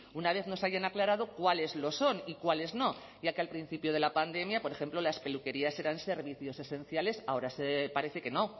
una vez nos haya aclarado cuáles lo son y cuáles no ya que al principio de la pandemia por ejemplo las peluquerías eran servicios esenciales ahora parece que no